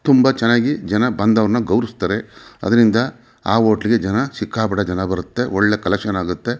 ತುಂಬ ಚೆನ್ನಾಗಿ ಜನ ಬಂದವರ್ನ ಗೌರವಿಸುತ್ತಾರೆ ಅದ್ರಿಂದ ಆ ಹೋಟೆಲ್ ಗೆ ಜನ ಸಿಕ್ಕಾಪಟ್ಟೆ ಜನ ಬರುತ್ತೆ ಒಳ್ಳೆ ಕಲೆಕ್ಷನ್ ಆಗುತ್ತೆ.